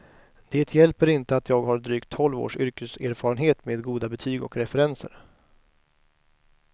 Det hjälper inte att jag har drygt tolv års yrkeserfarenhet med goda betyg och referenser.